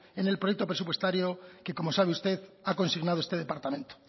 en el proyecto presupuestario que como sabe usted ha consignado este departamento